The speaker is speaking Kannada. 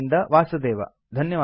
ಬಾಂಬೆಯಿಂದ ವಾಸುದೇವ